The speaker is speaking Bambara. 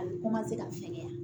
A bɛ ka fɛgɛya